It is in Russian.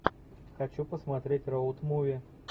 хочу посмотреть роуд муви